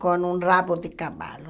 com um rabo de cavalo.